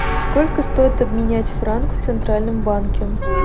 сколько стоит обменять франк в центральном банке